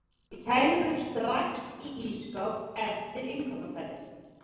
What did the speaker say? setja kælivörur strax í ísskáp eftir innkaupaferðir